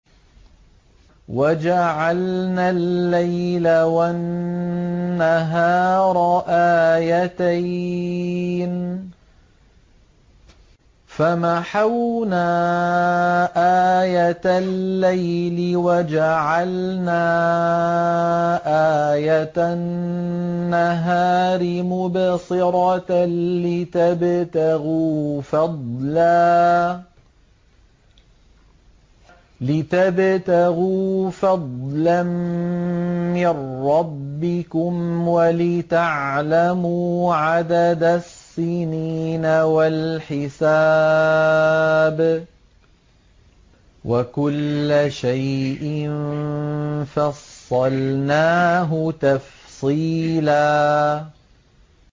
وَجَعَلْنَا اللَّيْلَ وَالنَّهَارَ آيَتَيْنِ ۖ فَمَحَوْنَا آيَةَ اللَّيْلِ وَجَعَلْنَا آيَةَ النَّهَارِ مُبْصِرَةً لِّتَبْتَغُوا فَضْلًا مِّن رَّبِّكُمْ وَلِتَعْلَمُوا عَدَدَ السِّنِينَ وَالْحِسَابَ ۚ وَكُلَّ شَيْءٍ فَصَّلْنَاهُ تَفْصِيلًا